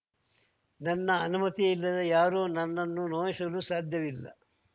ನನ್ನ ಅನುಮತಿಯಿಲ್ಲದೆ ಯಾರೂ ನನ್ನನ್ನು ನೋಯಿಸಲು ಸಾಧ್ಯವಿಲ್ಲ